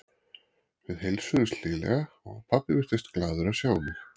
Við heilsuðumst hlýlega og pabbi virtist glaður að sjá mig.